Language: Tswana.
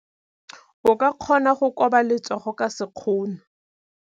O ka kgona go koba letsogo ka sekgono.